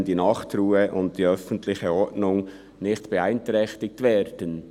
] wenn die Nachtruhe und die öffentliche Ordnung nicht beeinträchtigt werden».